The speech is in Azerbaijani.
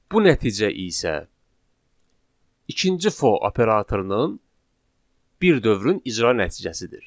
Bu nəticə isə ikinci for operatorunun bir dövrün icra nəticəsidir.